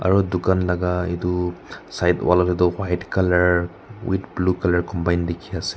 aru dukan laga itu side wala tedu white colour with blue colour combine dikhi ase.